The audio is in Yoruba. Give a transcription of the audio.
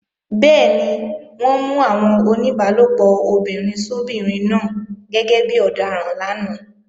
Bẹ́ẹ̀ni, wọ́n mú àwọn oníbálòpọ̀ obìnrin sóbinrin náà gẹ́gẹ́ bí ọ̀daràn lánàá